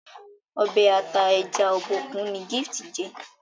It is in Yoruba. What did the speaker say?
Ọbẹ̀ ata ẹja Obokun ni Gift jé